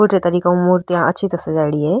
मुर्तिया अच्छी तरह सजाई डी है।